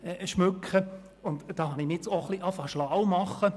Ich habe begonnen, mich diesbezüglich schlau zu machen.